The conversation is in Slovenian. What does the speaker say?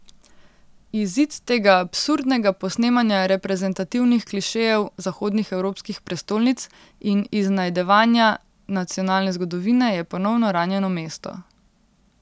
Izid tega absurdnega posnemanja reprezentativnih klišejev zahodnih evropskih prestolnic in iznajdevanja nacionalne zgodovine je ponovno ranjeno mesto.